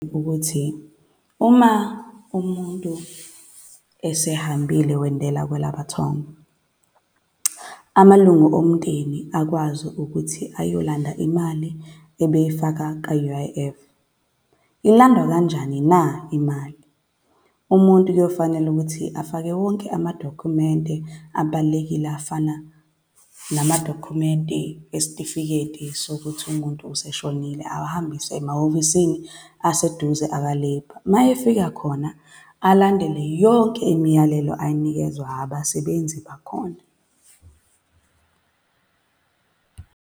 Ukuthi uma umuntu esehambile wendela kwalamathongo, amalungu omndeni akwazi ukuthi ayolanda imali ebeyifaka ka-U_I_F. Ilandwa kanjani na imali? Umuntu kuyofanela ukuthi afake wonke amadokhumente abalulekile afana namadokhumente esitifiketi sokuthi umuntu useshonile, awahambise emahhovisini aseduze aka-Labour. Uma efika khona, alandele yonke imiyalelo ayinikezwa abasebenzi bakhona .